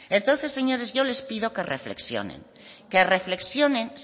entonces señores yo les pido que reflexionen que reflexionen